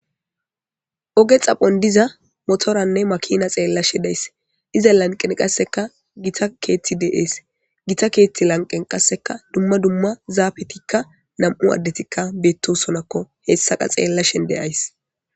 Ooge xaphon diza motorenne maakina xellashe days izza lanqen qasekka gitta keththi de'es gita keththa lanqen qasekka zafettikka bettossonnakko hessakka xellashe de'ayssii